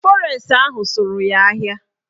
Fọres ahụ sụrụ ya ahịa